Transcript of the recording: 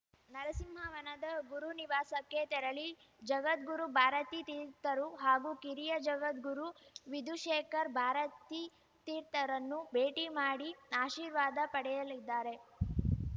ನರಸಿಂಹವನದ ಗುರುನಿವಾಸಕ್ಕೆ ತೆರಳಿ ಜಗದ್ಗುರು ಭಾರತೀ ತೀರ್ಥರು ಹಾಗೂ ಕಿರಿಯ ಜಗದ್ಗುರು ವಿದುಶೇಖರ್ ಭಾರತೀ ತೀರ್ಥರನ್ನು ಭೇಟಿ ಮಾಡಿ ಆಶೀರ್ವಾದ ಪಡೆಯಲಿದ್ದಾರೆ